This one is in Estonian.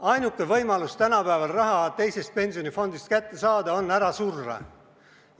Ainuke võimalus tänapäeval raha teisest pensionifondist kätte saada on ära surra.